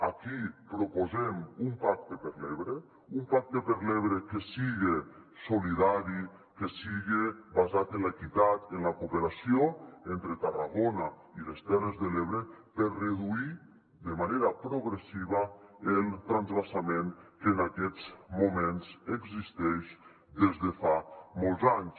aquí proposem un pacte per l’ebre un pacte per l’ebre que siga solidari que siga basat en l’equitat en la co·operació entre tarragona i les terres de l’ebre per reduir de manera progressiva el transvasament que en aquests moments existeix des de fa molts anys